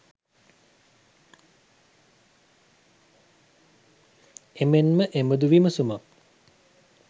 එමෙන්ම එබඳු විමසුමක්